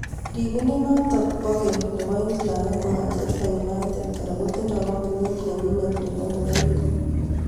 ripindiet notok bo keng' nebo England ak Manchester United kora kotindo kampunit nenyinet nebo ngoroik.